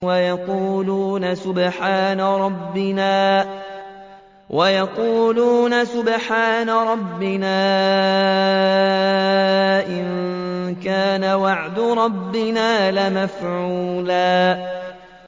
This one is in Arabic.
وَيَقُولُونَ سُبْحَانَ رَبِّنَا إِن كَانَ وَعْدُ رَبِّنَا لَمَفْعُولًا